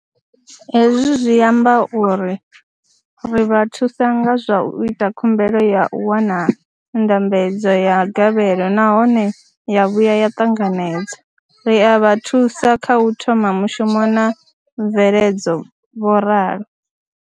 Hezwi zwi amba uri ri vha thusa nga zwa u ita khumbelo ya u wana ndambedzo ya gavhelo nahone ya vhuya ya ṱanganedzwa, ri a vha thusa kha u thoma mushumo na mveledzo, vho ralo.